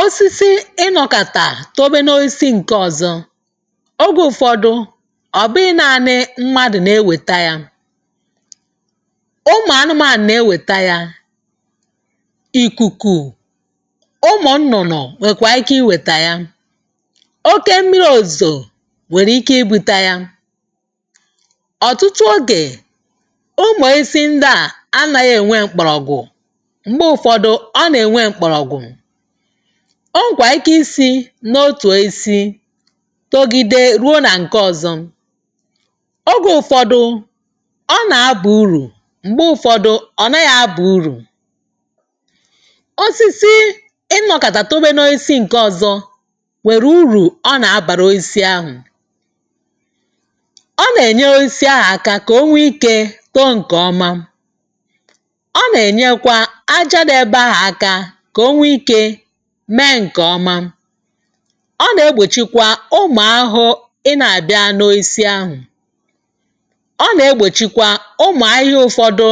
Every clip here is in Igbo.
osisi ịnọkàtà òbe n’oisi ǹke ọ̀zọ ogè ụ̀fọdụ ọ̀bụghị na-anị mmadụ̀ nà-ewèta yȧ ụmụ̀ anụmȧànụ̀ nà-ewèta yȧ ikukuù ụmụ̀ nnụ̀nụ̀ nọ̀ nwèkwà ike iwèta yȧ oke mmìrì òzò nwèrè ike ibu̇ta yȧ ọ̀tụtụ ogè ụmụ̀ ezi ndị à anȧghị ènwe kpàrọ̀gwụ̀ ọ nà-ènwe mkpọ̀rọ̀gwụ̀ o nwèrè ike isi̇ n’otù isi̇ togide ruo nà ǹke ọ̀zọ ogè ụ̀fọdụ ọ nà-abụ̀ urù m̀gbe ụ̀fọdụ ọ̀ nọ yȧ abụ̀ urù osisi ịnọkàtà òbe n’oisi ǹke ọ̀zọ nwèrè urù ọ nà-àbàrà oisi ahụ̀ ọ nà-ènye oisi ahụ̀ aka kà o nwee ikė too ǹkè ọma meǹkè ọma ọ nà-egbòchikwa ụmụ̀ ahụ ị nà-àbịa n’oisi ahụ̀ ọ nà-egbòchikwa ụmụ̀ ahịhịa ụ̇fọdụ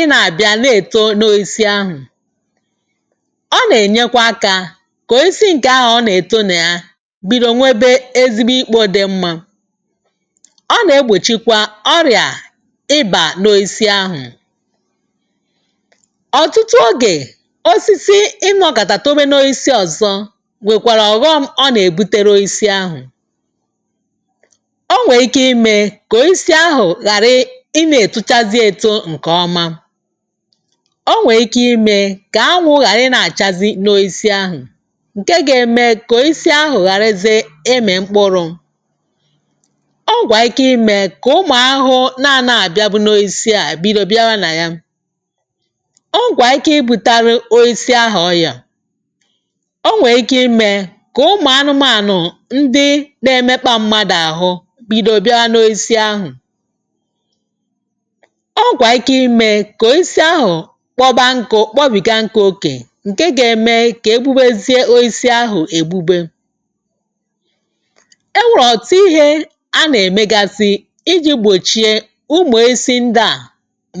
ịnà-àbịa lee èto n’oisi ahụ̀ ọ nà-ènyekwa akȧ kònyesi ǹkè ahà ọ nà-ètonaia bido nwebe ezigbo ikpo dị mmȧ ọ nà-egbòchikwa ọrịà ịbà n’oisi ahụ̀ osisi imė ọkàtà omenu isi ọ̀zọ nwèkwàrà ọ̀ghọm ọ nà-èbutere isi ahụ̀ o nwèè ike imė kọ̀ isi ahụ̀ ghàrị ị nȧ-ètuchazị eto ǹkè ọma o nwèè ike imė kà ànwū̇ ghàra ị nȧ-àchazi n’oisi ahụ̀ ǹke gȧ-ėmė kọ̀ isi ahụ̀ ghàrịze ịmị̀ mkpụrụ o gwà ike imė kà ụmụ̀ ahụhụ nà-anȧ àbịa bụ n’oisi àbịrụ bịa gha nà ya o nwè ike imė kà ụmụ̀ anụmànụ̀ ndị na-emekwȧ mmadụ̀ àhụ bìdiò bịa n’oisi ahụ̀ ọgwà ike imė kà o isi ahụ̀ kpọbọ nkụ̇ kpọbìga nke okè ǹke gȧ-eme kà ebubezie oisi ahụ̀ ègbube e nwèrè òtù ihe a nà-èmegasị iji̇ gbòchie ụmụ̀ isi ndị à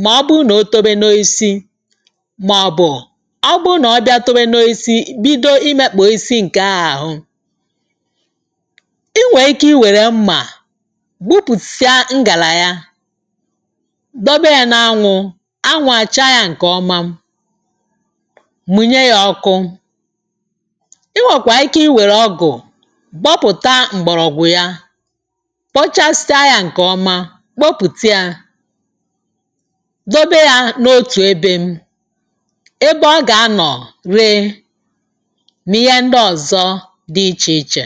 mà ọ bụ̀ụ̀ nà o tobe n’oisi mà ọ̀ bụ̀ bido ịmȧkpà isi ǹkè ahụ̀ i nwèrè ike i wère mmà gbupùsịa ngàlà ya dobe ya n’ànwū̇ ànwū̇àcha yȧ ǹkèọma mụ̀nyè ya ọkụ i nwèkwà ike i wère ọgụ̀ gbọpụ̀ta m̀gbọ̀rọ̀gwụ̀ ya kpochasja yȧ ǹkèọma kpopùte yȧ dobe yȧ n’otù ebe mị yȧ ndị ọ̀zọ dị ichè ichè